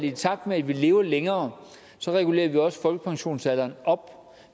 i takt med at vi lever længere regulerer vi også folkepensionsalderen op